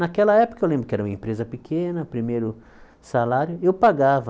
Naquela época eu lembro que era uma empresa pequena, primeiro salário, eu pagava.